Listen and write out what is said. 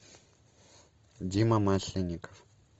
дима масленников